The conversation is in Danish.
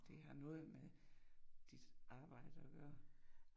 Det har noget med dit arbejde at gøre